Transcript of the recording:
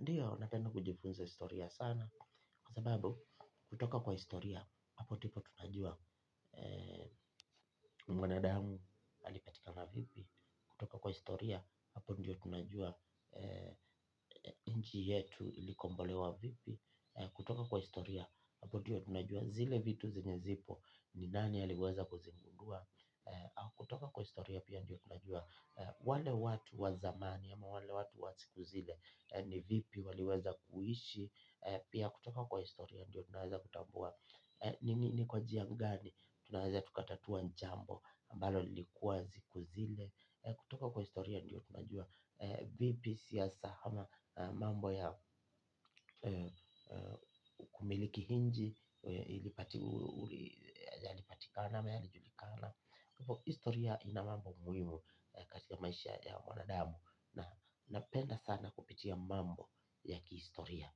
Ndiyo, napenda kujifunza historia sana, kwa sababu, kutoka kwa historia, hapo ndipo tunajua mwanadamu alipatikana vipi, kutoka kwa historia, hapo ndio tunajua nchi yetu ilikombolewa vipi, kutoka kwa historia, hapo ndiyo tunajua zile vitu zenye zipo ni nani aliweza kuzigundua, kutoka kwa historia pia ndio tunajua. Wale watu wa zamani ama wale watu wa siku zile. Ni vipi waliweza kuishi. Pia kutoka kwa historia ndio tunaweza kutambua. Ni kwa njia gani tunaweza tukatatua jambo ambalo lilikuwa siku zile. Kutoka kwa historia ndio tunajua. Vipi siasa ama mambo ya kumiliki nchi yalipatikana ama yalijulikana. Historia ina mambo muhimu katika maisha ya wanadamu. Na napenda sana kupitia mambo ya kihistoria.